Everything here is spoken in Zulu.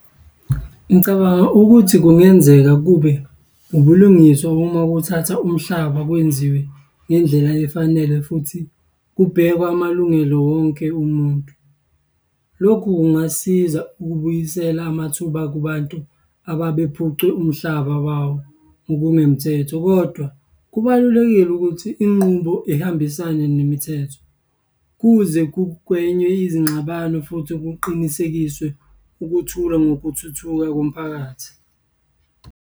Ngicabanga ukuthi kungenzeka kube ubulungiswa uma kuthathwa umhlaba kwenziwe ngendlela efanele futhi kubhekwa amalungelo wonke umuntu. Lokhu kungasiza ukubuyisela amathuba kubantu ababephucwe umhlaba wawo ngokungemthetho. Kodwa, kubalulekile ukuthi inqubo ihambisane nemithetho kuze kugwenywe izingxabano futhi kuqinisekiswe ukuthula ngokuthuthukisa komphakathi.